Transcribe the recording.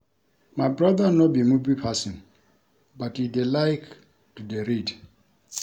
My brother no be movie person but he dey like to dey read